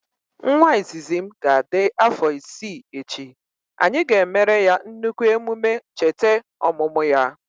Nwa izizi m ga adị afọ isii echi, anyị ga emere ya nnukwu emume chete ọmụmụ ya